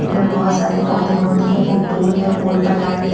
ल्डमें बहुत सारे पौधे-वौधे हैं एक पोल है पोल पर एक लाइट --